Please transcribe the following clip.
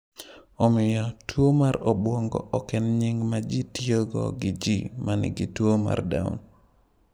Omiyo, tuwo mar obwongo ok en nying’ ma ji tiyogo gi ji ma nigi tuwo mar Down.